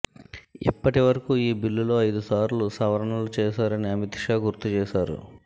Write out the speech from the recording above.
ఇప్పటీవరకు ఈ బిల్లులో ఐదుసార్లు సవరణలు చేశారని అమిత్ షా గుర్తుచేశారు